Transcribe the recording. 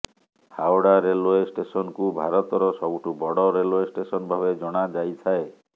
Howrah railway ଷ୍ଟେସନକୁ ଭାରତର ସବୁଠୁ ବଡ଼ ରେଲଓ୍ବେ ଷ୍ଟେସନଭାବେ ଜଣା ଯାଇଥାଏ